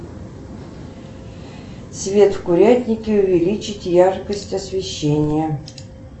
свет в курятнике увеличить яркость освещения